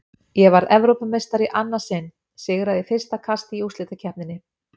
Ég varð Evrópumeistari í annað sinn, sigraði í fyrsta kasti í úrslitakeppninni.